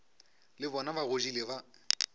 le bona ba godile ba